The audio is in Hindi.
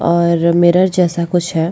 और मिरर जैसा कुछ है।